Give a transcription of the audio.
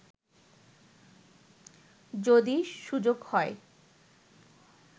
যদি সুযোগ হয়